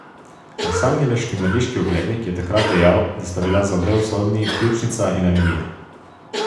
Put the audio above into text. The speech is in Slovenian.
Losangeleški mrliški oglednik je takrat dejal, da sta bili za oba usodni pljučnica in anemija.